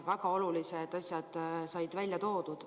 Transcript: Väga olulised asjad said välja toodud.